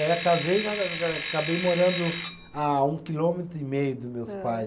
Era casei e acabei morando a um quilômetro e meio dos meus pais.